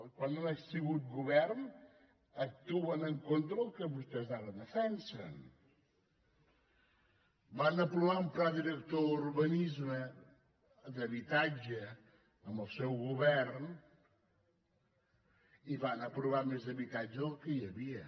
quan han sigut govern actuen en contra del que vostès ara defensen van aprovar un pla director d’urbanisme d’habitatge amb el seu govern i van apro·var més habitatge del que hi havia